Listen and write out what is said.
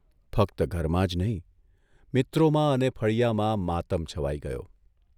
ફક્ત ઘરમાં જ નહીં, મિત્રોમાં અને ફળિયામાં માતમ છવાઇ ગયો.